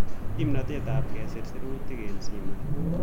Kimnatet ab kesir sirutet eng' simet